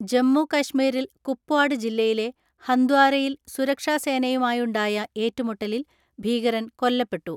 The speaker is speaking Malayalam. ജമ്മുകശ്മീരിൽ കുപ്വാഡ് ജില്ലയിലെ ഹന്ദ്വാരയിൽ സുരക്ഷാസേനയുമായുണ്ടായ ഏറ്റുമുട്ടലിൽ ഭീകരൻ കൊല്ല പ്പെട്ടു.